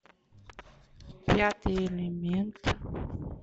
пятый элемент